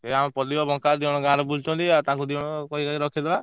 ଏଇ ଆମ ପଲି ଆଉ ବଙ୍କା ଦି ଜଣ ଗାଁରେ ବୁଲୁଛନ୍ତି ତାଙ୍କୁ ଦି ଜଣକୁ କହି କହିକି ରଖେଇଦବା।